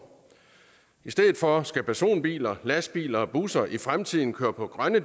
i stedet for skal personbiler lastbiler og busser i fremtiden køre på grønne